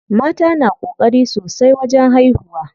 Mata na ƙokari sosai wajen haihuwa.